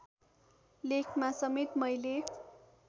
लेखमा समेत मैले